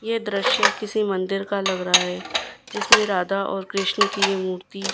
ये दृश्य किसी मंदिर का लग रहा है जिसमें राधा और कृष्ण की ये मूर्ति--